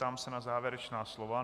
Ptám se na závěrečná slova.